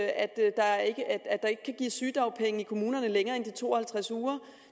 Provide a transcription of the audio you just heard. at der ikke kan gives sygedagpenge i kommunerne længere end de to og halvtreds uger